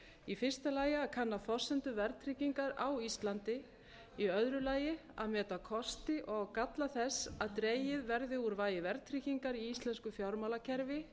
í fyrsta lagi að kanna forsendur verðtryggingar á íslandi í öðru lagi að meta kosti og galla þess að dregið verði úr vægi verðtryggingar í íslensku fjármálakerfi